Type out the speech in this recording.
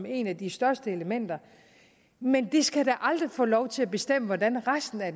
et af de største elementer men det skal da aldrig få lov til at bestemme hvordan resten af